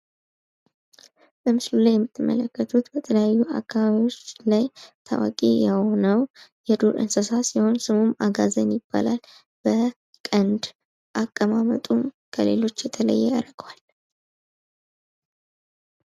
በምስሉ ላይ የምትመለከቱት በተለያዩ አካባቢዎች ላይ ታዋቂ የሆነው የዱር እንሰሳ ሲሆን ስሙም አጋዘን ይባላል። በቀንድ አቀማመጡም ከሌሎች የተለየ ያደርገዋል።